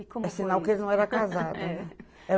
E como. É sinal que ele não era casado, né. É